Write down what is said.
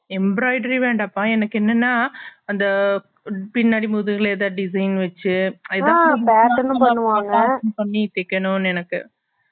embroidery வேன்னாப்பா என்னக்கு என்னன்னா அந்த பின்னாடி முதுகுல எதாவது design வெச்சு பண்ணி தேக்கனும்னு என்னக்கு